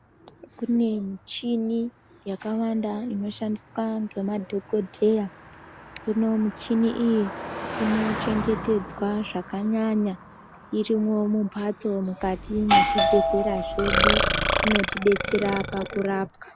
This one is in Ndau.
Kune michini yakawanda inoshandiswa ngemadhokodheya. Hino michini iyi inochengetedzwa zvakanyanya irimwo mumphatso mukati mwezvibhedhlera zvedu inotidetsera kurapwa.